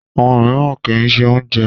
Àwọn mìíràn kì í ṣe oúnjẹ.